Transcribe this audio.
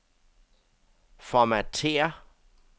formatér